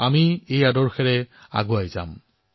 আমি এই আদৰ্শৰ সৈতেই আগবাঢ়ি যাম